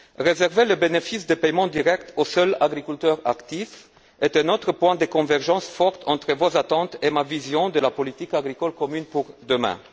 Réserver le bénéfice des paiements directs aux seuls agriculteurs actifs est un autre point de convergence forte entre vos attentes et ma vision de la politique agricole commune pour demain.